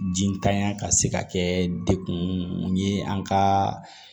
Jitanya ka se ka kɛ dekun ye an ka